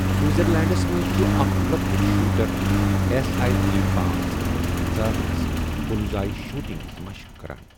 سِوِٹزَرلینٛڈَس مَنٛز چُھ اَکھ لۄکُٹ شوٗٹَر ایس آیی جی پانژھ ہتھ پنژاہ سٕتہِ بُلزآیی شوٗٹِنٛگ ہِنٛز مَشٕق کَران